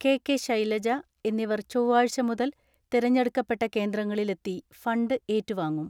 K K. Shailaja എന്നി വർ ചൊവ്വാഴ്ച മുതൽ തെരഞ്ഞെടുക്കപ്പെട്ട കേന്ദ്രങ്ങളിലെത്തി ഫണ്ട് ഏറ്റുവാങ്ങും.